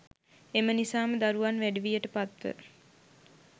එම නිසාම දරුවන් වැඩිවියට පත්ව